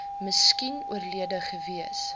miskien oorlede gewees